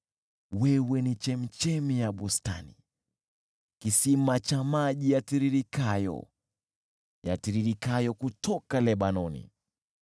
Wewe ni chemchemi ya bustani, kisima cha maji yatiririkayo, yakitiririka kutoka Lebanoni.